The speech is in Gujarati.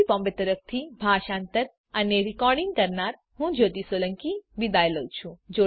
iit બોમ્બે તરફથી સ્પોકન ટ્યુટોરીયલ પ્રોજેક્ટ માટે ભાષાંતર કરનાર હું જ્યોતી સોલંકી વિદાય લઉં છું